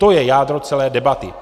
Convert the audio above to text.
To je jádro celé debaty.